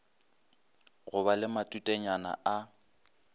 go ba le matutenyana a